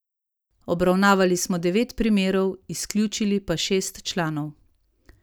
Obravnavali smo devet primerov, izključili pa šest članov.